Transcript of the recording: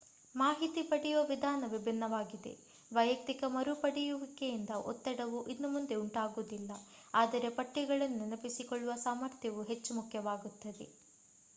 ಮಾಹಿತಿ ಪಡೆಯುವ ವಿಧಾನ ವಿಭಿನ್ನವಾಗಿದೆ ವೈಯಕ್ತಿಕ ಮರುಪಡೆಯುವಿಕೆಯಿಂದ ಒತ್ತಡವು ಇನ್ನು ಮುಂದೆ ಉಂಟಾಗುವುದಿಲ್ಲ ಆದರೆ ಪಠ್ಯಗಳನ್ನು ನೆನಪಿಸಿಕೊಳ್ಳುವ ಸಾಮರ್ಥ್ಯವು ಹೆಚ್ಚು ಮುಖ್ಯವಾಗುತ್ತದೆ